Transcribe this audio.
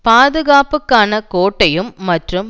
பாதுகாப்புக்கான கோட்டையும் மற்றும்